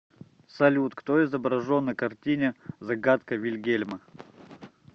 салют кто изображен на картине загадка вильгельма